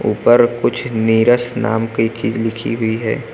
पर कुछ नीरस नाम की चीज लिखी हुई है।